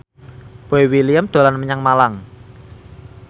Boy William dolan menyang Malang